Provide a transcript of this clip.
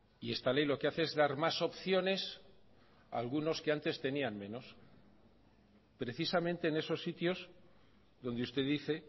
y esta ley lo que hace es dar más opciones a algunos que antes tenían menos precisamente en esos sitios donde usted dice